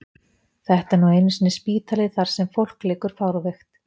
Þetta er nú einu sinni spítali þar sem fólk liggur fárveikt.